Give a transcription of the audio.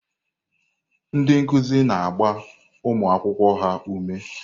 Ndị nkuzi na-agba ụmụ akwụkwọ ha ume.